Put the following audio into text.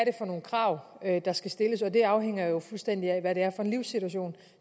er for nogle krav der skal stilles og det afhænger jo fuldstændig af hvad det er for en livssituation